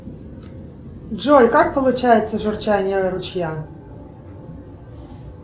джой как получается журчание ручья